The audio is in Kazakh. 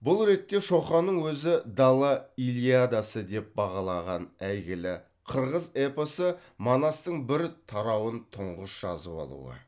бұл ретте шоқанның өзі дала илиадасы деп бағалаған әйгілі қырғыз эпосы манастың бір тарауын тұңғыш жазып алуы